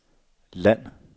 land